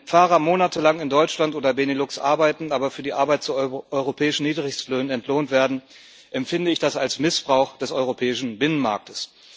Wenn Fahrer monatelang in Deutschland oder Benelux arbeiten, aber für die Arbeit zu europäischen Niedrigstlöhnen entlohnt werden, empfinde ich das als Missbrauch des europäischen Binnenmarkts.